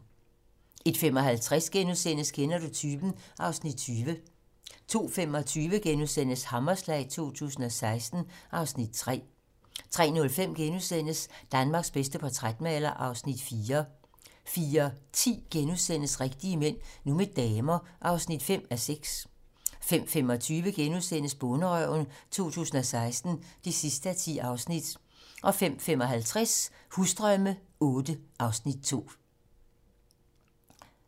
01:55: Kender du typen? (Afs. 20)* 02:25: Hammerslag 2016 (Afs. 3)* 03:05: Danmarks bedste portrætmaler (Afs. 4)* 04:10: Rigtige mænd - nu med damer (5:6)* 05:25: Bonderøven 2016 (10:10)* 05:55: Husdrømme VIII (Afs. 2)